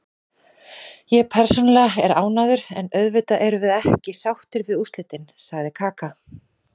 Ég persónulega er ánægður, en auðvitað erum við ekki sáttir við úrslitin, sagði Kaka.